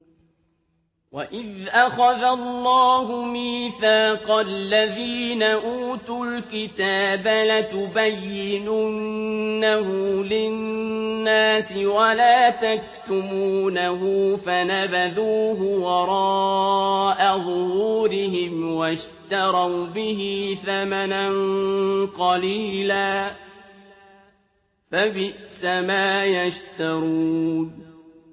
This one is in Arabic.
وَإِذْ أَخَذَ اللَّهُ مِيثَاقَ الَّذِينَ أُوتُوا الْكِتَابَ لَتُبَيِّنُنَّهُ لِلنَّاسِ وَلَا تَكْتُمُونَهُ فَنَبَذُوهُ وَرَاءَ ظُهُورِهِمْ وَاشْتَرَوْا بِهِ ثَمَنًا قَلِيلًا ۖ فَبِئْسَ مَا يَشْتَرُونَ